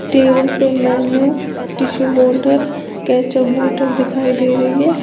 Table पे menu tissue holder ketchup bottle ketchup बोतल दिखाई दे रही है।